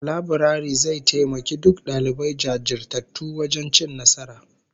Laburare zai taimaki duk dalibai jajirtattu wajen cin nasara